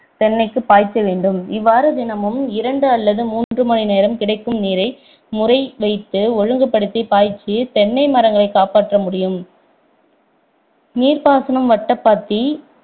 தென்னைக்கு பாய்ச்ச வேண்டும் இவ்வாறு தினமும் இரண்டு அல்லது மூன்று மணி நேரம் கிடைக்கும் நீரை முறை வைத்து ஒழுங்குபடுத்தி பாய்ச்சி தென்னை மரங்களை காப்பாற்ற முடியும் நீர் பாசன வட்டப்பாத்தி